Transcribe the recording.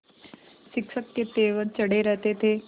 शिक्षक के तेवर चढ़े रहते थे